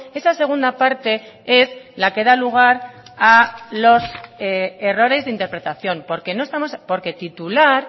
esa segunda parte es la que da lugar a los errores de interpretación porque no estamos porque titular